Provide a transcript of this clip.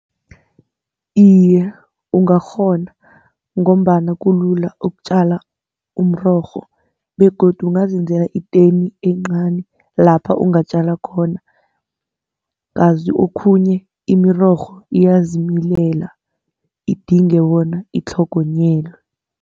Iye, ungakghona ngombana kulula ukutjala umrorho begodu ungazenzela itoni encani lapha ungatjala khona. Kazi okhunye imirorho iyazimilela, idinge bona itlhogonyelwe.